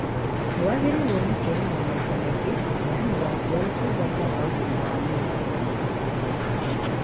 Nĩwagĩrĩirwo nĩ kuonaga maita maingĩ mũheani waku wa ũtungata wa ũgimawa mwĩrĩ